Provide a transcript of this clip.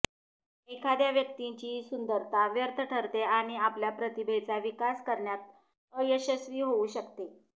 एखाद्या व्यक्तीची सुंदरता व्यर्थ ठरते आणि आपल्या प्रतिभेचा विकास करण्यात अयशस्वी होऊ शकते